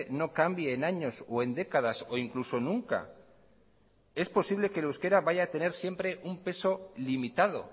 no cambie en años o en décadas o incluso nunca es posible que el euskara vaya a tener un peso limitado